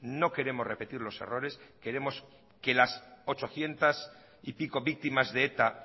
no queremos repetir los errores queremos que las ochocientas y pico víctimas de eta